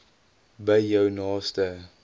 by jou naaste